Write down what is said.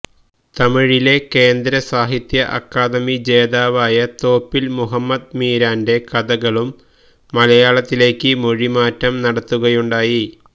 തമിഴിലെ കേന്ദ്ര സാഹിത്യ അക്കാദമി ജേതാവായ തോപ്പില് മുഹമ്മദ് മീരാന്റെ കഥകളും മലയാളത്തിലേക്ക് മൊഴിമാറ്റം നടത്തുകയുണ്ടായി